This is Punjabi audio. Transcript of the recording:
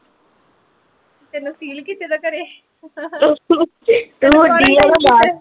ਤੇਨੂੰ seal ਕੀਤੇ ਦਾ ਘਰੇ